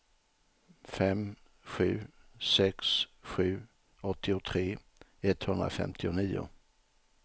fem sju sex sju åttiotre etthundrafemtionio